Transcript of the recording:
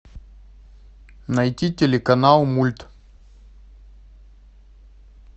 найти телеканал мульт